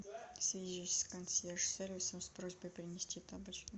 свяжись с консьерж сервисом с просьбой принести тапочки